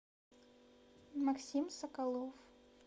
максим соколов